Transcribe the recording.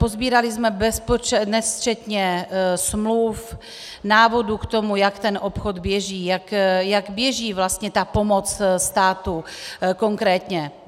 Posbírali jsme nesčetně smluv, návodů k tomu, jak ten obchod běží, jak běží vlastně ta pomoc státu konkrétně.